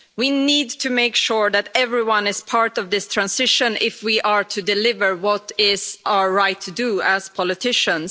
We need to make sure that everyone is part of this transition if we are to deliver what it is our right to do, as politicians.